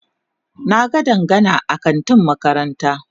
Na ga Dangana a kantin makaranta.